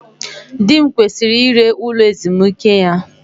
Di m kwesịrị ire ụlọ ezumike ya